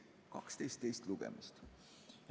12 teist lugemist.